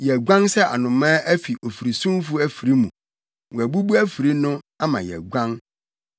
Yɛaguan sɛ anomaa afi ofirisumfo afiri mu; wɔabubu afiri no, ama yɛaguan.